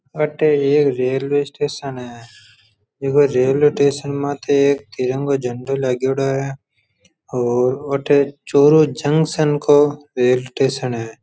आठे एक railway station है झीको रेलवे स्टेशन माथे एक तिरंगा झंडो लागेडो है और अठ चूरू जंक्शन को रेलवे स्टेशन है।